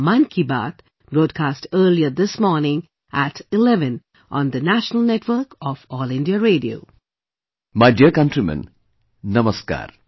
My dear countrymen, Namaskar